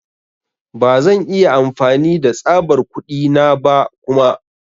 Ba zan iya amfani da tsabar kuɗi na ba kuma.